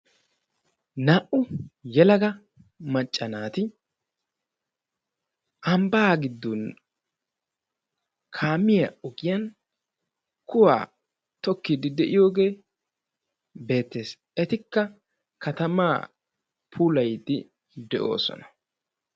naa"u yelaga macca naati ambbaa giddon kaamiyaan ogiyaan kuwaa tokkide de'iyooge beettees; etikka katama puulayidde de'osona